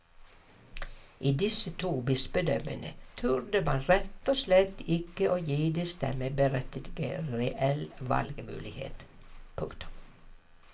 I disse to bispedømmene turde man rett og slett ikke å gi de stemmeberettigede reell valgmulighet. punktum